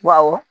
Baw